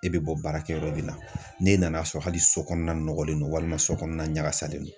E bɛ bɔ baarakɛyɔrɔ de la ne nan'a sɔrɔ hali so kɔnɔna nɔgɔlen don walima sokɔnɔ na ɲagasalen don.